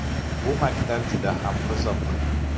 Bu maktab juda ham qiziq.